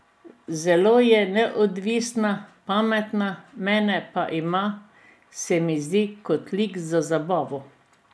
Zelo je neodvisna, pametna, mene pa ima, se mi zdi, kot lik za zabavo.